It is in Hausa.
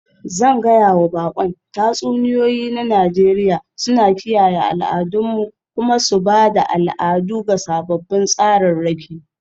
Zan gaya wa baƙon tatsuniyoyi na Nijeriya suna kiyaye al'adunmu kuma su ba da al'adu ga sababbin tsararraki.